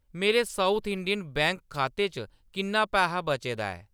मेरे South Indian Bank खाते च किन्ना पैहा बचे दा ऐ ?